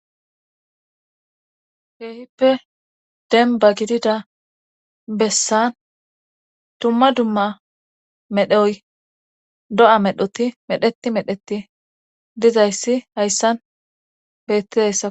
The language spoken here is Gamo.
Heehippe denba gidida bessan dumma dumma medhoy do7a medhoti medheti medheti dizayssi hayssan bettidayssa.